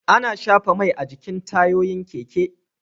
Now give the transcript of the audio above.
Ana shafa Mai a jikin tayoyin keke